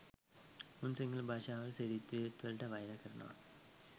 උන් සිංහල භාෂාවට සිරිත්විරිත් වලට වෛර කරනවා